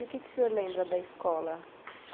E o que que o senhor lembra da escola?